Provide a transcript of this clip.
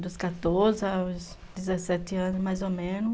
Dos quatorze aos dezessete anos, mais ou menos.